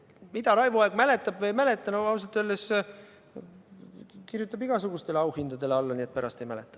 Mida Raivo Aeg mäletab või ei mäleta – no ausalt öeldes ta kirjutab igasugustele auhindadele alla, nii et pärast ei mäleta.